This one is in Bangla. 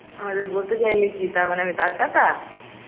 তাহলে বলতে চাইলি কি তারমানে আমি তারকাটা